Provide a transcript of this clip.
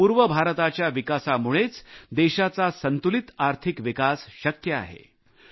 केवळ पूर्व भारताच्या विकासामुळेच देशाचा संतुलित आर्थिक विकास शक्य आहे